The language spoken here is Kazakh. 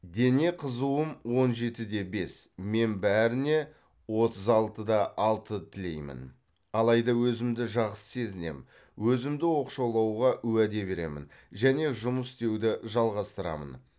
дене қызуым он жетіде бес мен бәріне отыз алтыда алты тілеймін алайда өзімді жақсы сезінем өзімді оқшаулауға уәде беремін және жұмыс істеуді жалғастырамын